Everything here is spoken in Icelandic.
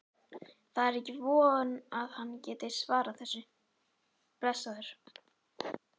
Það er ekki von að hann geti svarað þessu, blessaður.